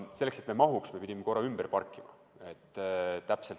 Selleks et me peale mahuksime, pidime korra ka ümber parkima.